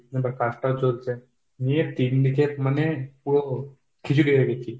তারপর কাজটাও চলছে। নিয়ে তিন দিকে মানে পুরো খিচুড়ি হয়ে গেছি।